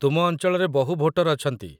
ତୁମ ଅଞ୍ଚଳରେ ବହୁ ଭୋଟର ଅଛନ୍ତି ।